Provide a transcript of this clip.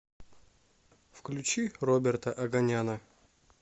включи роберта оганяна